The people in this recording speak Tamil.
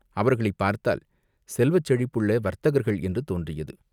அவர்களைப் பார்த்தால் செல்வச் செழிப்புள்ள வர்த்தகர்கள் என்று தோன்றியது.